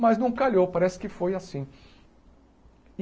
Mas não calhou, parece que foi assim.